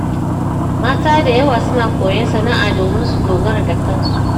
Mata da yawa suna koyon sana’a domin su dogara da kansu.